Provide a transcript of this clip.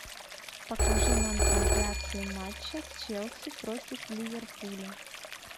покажи нам трансляцию матча челси против ливерпуля